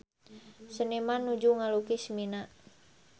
Seniman nuju ngalukis Mina